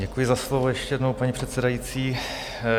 Děkuji za slovo ještě jednou, paní předsedající.